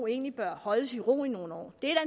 egentlig bør holdes i ro i nogle år det er